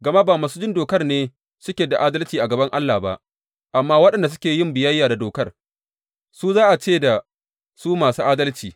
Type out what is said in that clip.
Gama ba masu jin dokar ne suke da adalci a gaban Allah ba, amma waɗanda suke yin biyayya da dokar, su za a ce da su masu adalci.